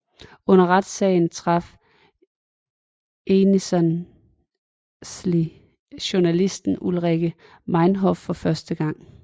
Under retssagen traf Ensslin journalisten Ulrike Meinhof for første gang